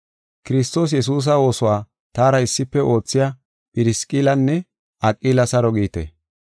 Kiristoos Yesuusa oosuwa taara issife oothiya Phirisqillanne Aqila saro giite.